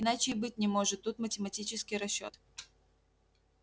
иначе и быть не может тут математический расчёт